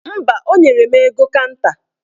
Mba, o nyere m ego kanta